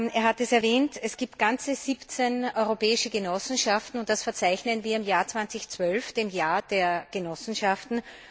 Er hat es erwähnt Es gibt ganze 17 europäische Genossenschaften, und das verzeichnen wir im Jahr 2012, dem Jahr der Genossenschaften.